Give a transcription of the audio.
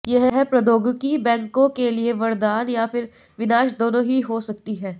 यह प्रौद्योगिकी बैंकों के लिए वरदान या फिर विनाश दोनों ही हो सकती है